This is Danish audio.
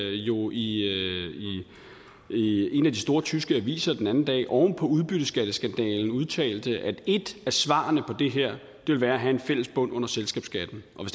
jo i i en af de store tyske aviser den anden dag oven på udbytteskatteskandalen udtalte at et af svarene på det her vil være at have en fælles bund under selskabsskatten og